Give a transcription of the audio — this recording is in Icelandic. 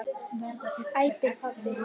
æpir pabbi.